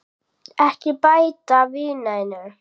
Ekki bæta við neinu.